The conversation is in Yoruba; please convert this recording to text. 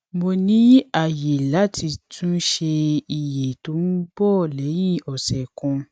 mo ní àyè láti tún ṣe iye tó ń bọ léyìn òsè kan